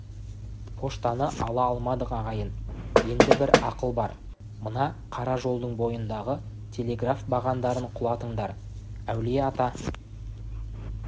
поштаны ала алмадық ағайын еңді бір ақыл бар мына қара жолдың бойындағы телеграф бағандарын құлатыңдар әулие-ата